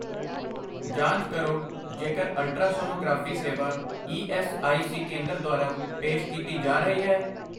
ਜਾਂਚ ਕਰੋ ਜੇਕਰ ਅਲਟਰਾਸੋਨੋਗ੍ਰਾਫੀ ਸੇਵਾ ਈ ਐੱਸ ਆਈ ਸੀ ਕੇਂਦਰ ਦੁਆਰਾ ਪੇਸ਼ ਕੀਤੀ ਜਾ ਰਹੀ ਹੈ।